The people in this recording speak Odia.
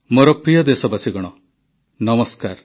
ମୋର ପ୍ରିୟ ଦେଶବାସୀଗଣ ନମସ୍କାର